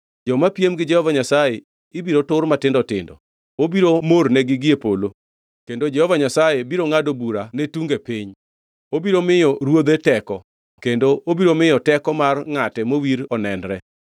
joma piem gi Jehova Nyasaye ibiro tur matindo tindo. Obiro mornegi gie polo; kendo Jehova Nyasaye biro ngʼado bura ne tunge piny. “Obiro miyo ruodhe teko kendo obiro miyo teko mar ngʼate mowir onenre.”